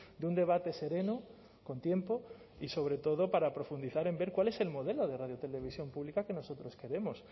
de un debate sereno con tiempo y sobre todo para profundizar en ver cuál es el modelo de radiotelevisión pública que nosotros queremos